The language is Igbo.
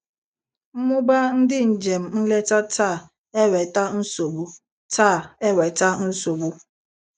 Mmuba ndị njem nleta taa eweta nsogbu. taa eweta nsogbu.